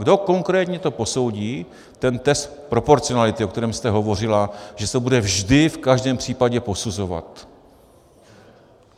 Kdo konkrétně to posoudí, ten test proporcionality, o kterém jste hovořila, že se to bude vždy, v každém případě, posuzovat?